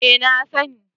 Eh na sani